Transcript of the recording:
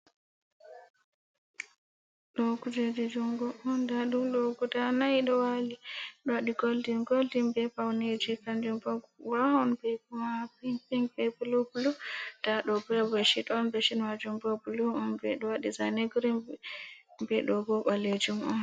Do kujeji jungo un, nda dum ɗo guda nay ɗo wali ɗo wadi goldin-goldin be pauneji kanjum bo wawan viyugo ma pink-pink be blu-blu. Nda do ɓo beshet on, beshet majum bo blu un ɓe ɗo wadi zane girin ɓe ɗo bo ɓalejum on.